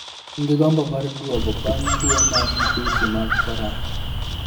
En gi gombo mar duogo bang' tuo mar madhusi mag Corona.